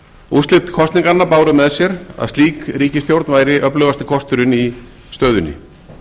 úrslit kosninganna báru með sér að slík ríkisstjórn væri öflugasti kosturinn í stöðunni